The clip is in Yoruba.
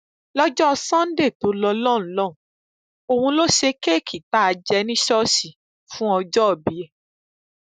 lọjọ sannde tó lọ lọhùnún òun ló ṣe kéèkì tá a jẹ ní ṣọọṣì fún ayẹyẹ ọjọòbí ẹ